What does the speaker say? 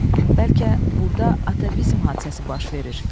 Bəlkə burda atavizm hadisəsi baş verir?